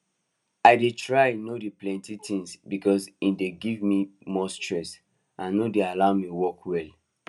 i dey try no do plenty tins because e dey gimme more stress and no dey allow me work well